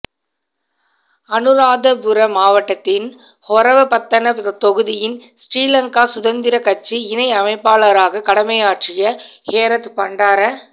அனுராதபுர மாவட்டத்தின் ஹொரவப்பத்தன தொகுதியின் ஸ்ரீ லங்கா சுதந்திரக் கட்சி இணை அமைப்பாளராக கடமையாற்றிய ஹேரத் பண்டார